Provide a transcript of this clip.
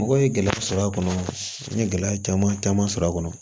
Mɔgɔ ye gɛlɛya sɔrɔ a kɔnɔ n ye gɛlɛya caman caman sɔrɔ a kɔnɔ